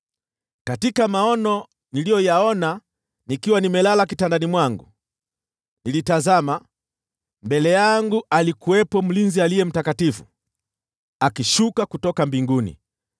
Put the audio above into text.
“Katika maono niliyoyaona nikiwa nimelala kitandani mwangu, nilitazama, na mbele yangu alikuwepo mlinzi, aliye mtakatifu, akishuka kutoka mbinguni.